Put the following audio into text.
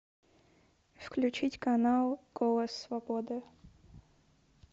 включить канал голос свободы